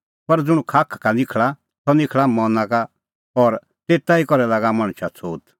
पर ज़ुंण खाखा का निखल़ा सह निखल़ा मना का और तेता ई करै लागा मणछा छ़ोत